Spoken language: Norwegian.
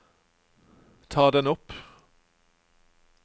ta den opp